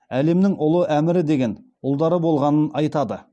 әлемнің ұлы әмірі деген ұлдары болғанын айтады